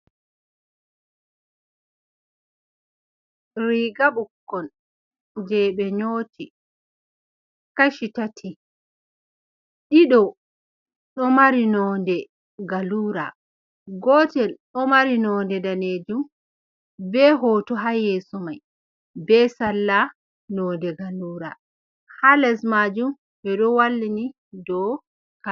Riga ɓukkon je ɓe nyoti kashi tati ɗiɗo ɗo mari nonde galura, gotel ɗo mari nonde danejum be hoto ha yeso mai be salla nonde gallura ha les majum ɓeɗo wallini dou ka.